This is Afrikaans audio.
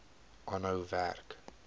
aanhou werk